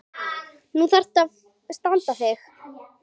Nú þarftu að standa þig.